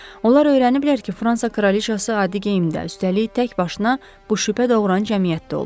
Onlar öyrəniblər ki, Fransa kraliçası adi geyimdən üstəlik təkbaşına bu şübhə doğuran cəmiyyətdə olub.